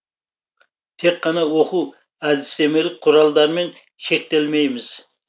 тек қана оқу әдістемелік құралдармен шектелмейміз